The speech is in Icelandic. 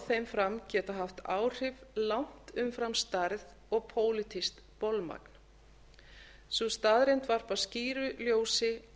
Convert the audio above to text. þeim fram geta haft áhrif langt umfram stærð og pólitískt bolmagn sú staðreynd varpar skýru ljósi